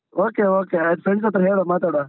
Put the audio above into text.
Okay, okay ಆಯ್ತು. friends ಹತ್ರ ಹೇಳುವ, ಮಾತಾಡ್ವಾ.